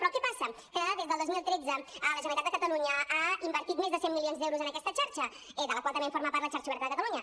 però què passa que des del dos mil tretze la generalitat de catalunya ha invertit més de cent milions d’euros en aquesta xarxa de la qual també forma part la xarxa oberta de catalunya